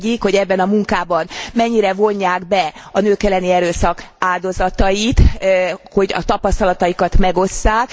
Az egyik, hogy ebbe a munkába mennyire vonják be a nők elleni erőszak áldozatait, hogy a tapasztalataikat megosszák.